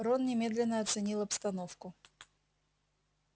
рон немедленно оценил обстановку